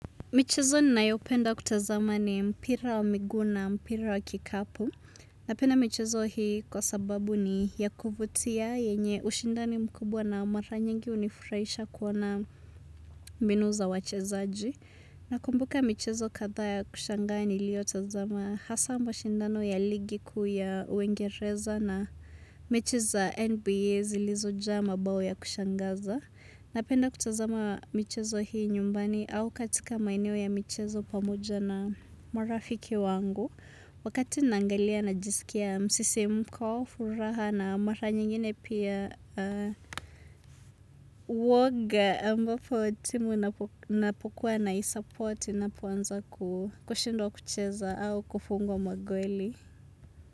Michezo ninayopenda kutazama ni mpira wa miguu na, mpira wa kikapu. Napenda michezo hii kwa sababu ni ya kuvutia yenye ushindani mkubwa na mara nyingi hunifurahisha kuona mbinu za wachezaji. Nakumbuka michezo kadhaa ya kushangaa niliyo tazama hasaa mashindano ya ligi kuu ya uingereza na michezo NBA zilizojaa mabao ya kushangaza. Napenda kutazama michezo hii nyumbani au katika maeneo ya michezo pamoja na marafiki wangu. Wakati naangalia na jisikia msisi mko, furaha na mara nyingine pia uoga ambapo timu napokuwa na isupporti inapoanza kushindwa kucheza au kufungwa magoli.